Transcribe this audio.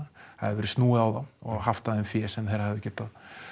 það hafi verið snúið á þá og haft af þeim fé sem þeir hefðu getað